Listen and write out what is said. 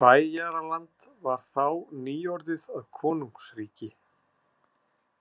Bæjaraland var þá nýorðið að konungsríki.